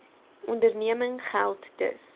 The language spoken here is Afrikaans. onderneming geld dus